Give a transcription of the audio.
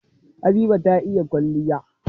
Habiba ta iya kwalliya